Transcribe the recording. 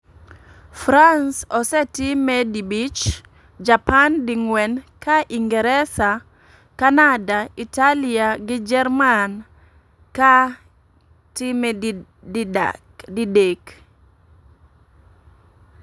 France osetime di bich, japan di gwen ka Ingeresa, Canada, Italia gi jerman ka time di dak.